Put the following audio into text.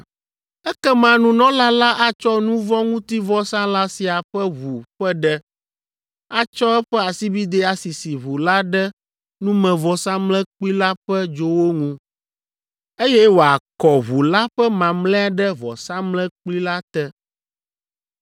Ekema nunɔla la atsɔ nu vɔ̃ ŋuti vɔsalã sia ƒe ʋu ƒe ɖe, atsɔ eƒe asibidɛ asisi ʋu la ɖe numevɔsamlekpui la ƒe dzowo ŋu, eye wòakɔ ʋu la ƒe mamlɛa ɖe vɔsamlekpui la te.